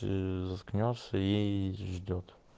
и заткнёшься ей ждёт